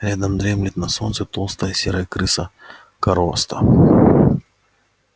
рядом дремлет на солнце толстая серая крыса короста